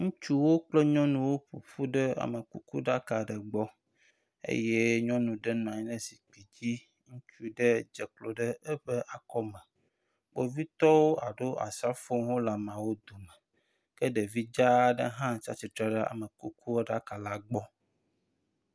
Ŋutsuwo kple nyɔnuwo ƒoƒu ɖe amekuku ɖaka aɖe gbɔ eye nyɔnu ɖe nɔ anyi ɖe zikpui dzi. Ŋutsu ɖe dze klo ɖe eƒe akɔme. Kpovitɔ alo asrafowo hã le ameawo dome ke ɖevi dza aɖe hã tsi atsitre ɖe amekukuɖaka la gbɔ.